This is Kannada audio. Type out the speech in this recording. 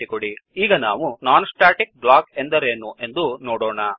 httpwwwspoken tutorialಒರ್ಗ್ ಈಗ ನಾವು ನಾನ್ ಸ್ಟ್ಯಾಟಿಕ್ ಬ್ಲಾಕ್ ಎಂದರೇನು ಎಂದು ನೋಡೋಣ